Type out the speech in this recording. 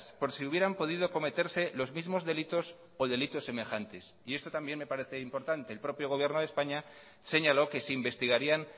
por si hubieran podido cometerse los mismos delitos o delitos semejantes y esto también me parece importante el propio gobierno de españa señaló que se investigarían